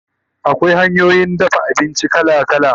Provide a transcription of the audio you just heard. Akwai hanyoyin dafa abinci kala kala